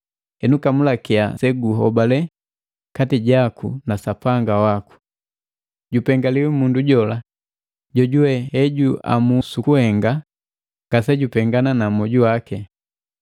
Henu kamulakia seguhobale kati jaku na Sapanga waku. Jupengaliwi mundu jola, jojuwe hejuamu sukuhenga ngase jupengana na moju waki.